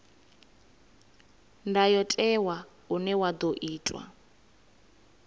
ndayotewa une wa ḓo itwa